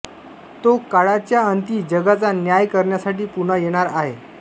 तो काळाच्या अंती जगाचा न्याय करण्यासाठी पुन्हा येणार आहे